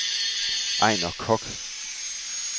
Ejnar Koch